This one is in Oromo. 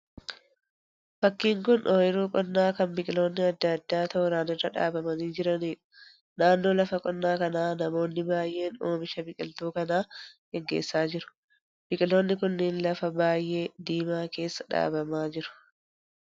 Fakkiin kun oyiruu qonnaa kan biqiloonni adda addaa tooraan irra dhaabamanii jiraniidha. Naannoo lafa qonnaa kanaa namoonni baay'een oomisha biqiltuu kanaa geggeessa jiru. Biqiloonni kunneen lafa biyyee diimaa keessa dhaabamaa jiru.